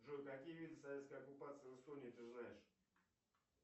джой какие виды советской оккупации в эстонии ты знаешь